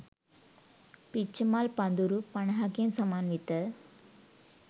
පිච්චමල් පඳුරු පනහකින් සමන්විත